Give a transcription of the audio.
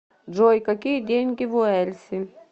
джой какие деньги в уэльсе